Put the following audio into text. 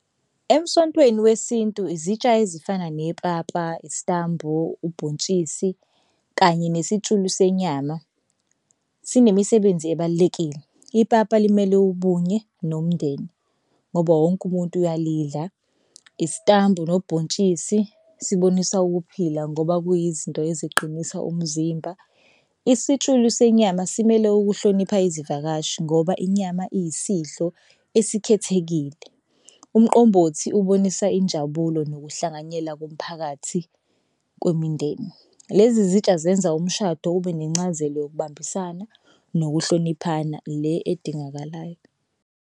Emsontweni wesintu izitsha ezifana nepapa, isitambu, ubhontshisi kanye nesitshulu senyama sinemsebenzi ebalulekile. Ipapa limele ubunye nomndeni ngoba wonke umuntu uyalidla. Isitambu nobhontshisi sibonisa ukuphila ngoba kuyizinto eziqinisa umzimba. Isitshulu senyama simele ukuhlonipha izivakashi ngoba inyama iyisidlo esikhethekile. Umqombothi ubonisa injabulo nokuhlanganyela komphakathi kwemindeni. Lezi zitsha zenza umshado ube nencazelo yokubambisana nokuhloniphana le edingakalayo.